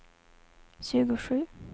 tjugosju